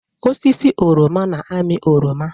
Osisi oroma na-amị oroma.